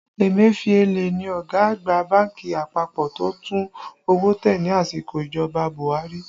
Emefiele ni ọ̀gá àgbà bánkì àpapọ̀ tó tún owó tẹ ní àsìkò ìjọba Buhari